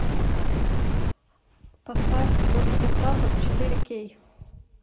поставь диктатор четыре кей